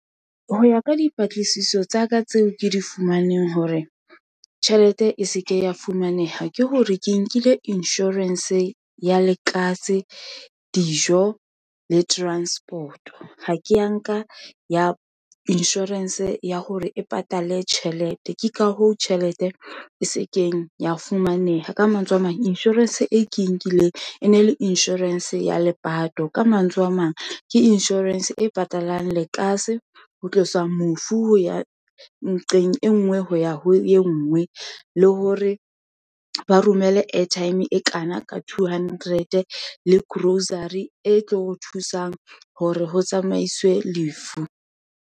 Ho ya ka dipatlisiso, tsaka tseo ke di fumaneng hore tjhelete e seke ya fumaneha, ke hore ke nkile insurance ya lekase, dijo, le transport-o, ha ko nka ya insurance ya hore e patale tjhelete, ke ka hoo tjhelete e se keng ya fumaneha. Ka mantswe a mang, insurance e ke e nkileng, e ne le insurance ya lepato. Ka mantswe a mang, ke insurance e patalang lekase, ho tlosa mofu ho ya nqeng e ngwe ho ya ho e nngwe, le hore ba romele airtime e kana ka two hundred le grocery e tlo o thusang hore ho tsamaiswe lefu.